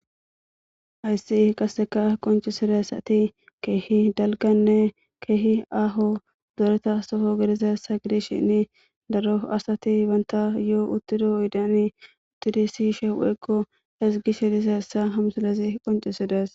Haysi qase qoncisizaysati kehi dalgane kehi aho gidida dereta Soho asa gidishin daro asati banta yoho utida oydiyan utidi siyishe woyko ezigishe dizaysa ha misilen qoncisides